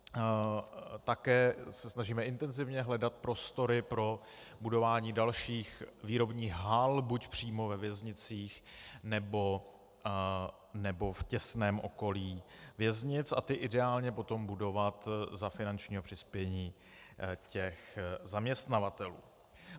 Také se snažíme intenzivně hledat prostory pro budování dalších výrobních hal buď přímo ve věznicích, nebo v těsném okolí věznic, a ty ideálně potom budovat za finančního přispění těch zaměstnavatelů.